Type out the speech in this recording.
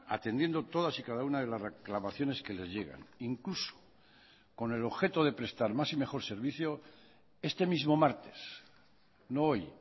atendiendo todas y cada una de las reclamaciones que les llegan incluso con el objeto de prestar más y mejor servicio este mismo martes no hoy